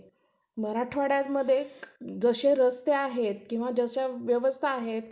मराठवाड्यामध्ये जसे रस्ते आहेत किंवा जशा व्यवस्था आहेत